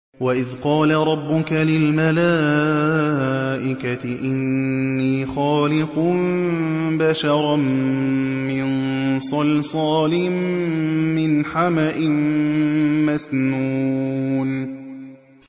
وَإِذْ قَالَ رَبُّكَ لِلْمَلَائِكَةِ إِنِّي خَالِقٌ بَشَرًا مِّن صَلْصَالٍ مِّنْ حَمَإٍ مَّسْنُونٍ